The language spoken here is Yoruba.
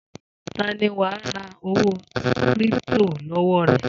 Ta ni wà á ra owó kírípító lọ́wọ́ rẹ̀?